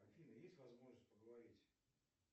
афина есть возможность поговорить